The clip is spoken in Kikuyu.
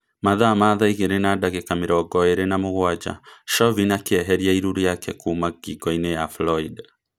Mathaa ma thaa igĩrĩ na ndagĩka mĩrongo ĩrĩ na mũgwanja, Chauvin akĩeheria iru riake kuma ngingo-inĩ ya Floyd